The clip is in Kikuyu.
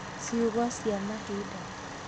Ciugo cia mahinda